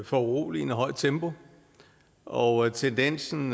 foruroligende højt tempo og tendensen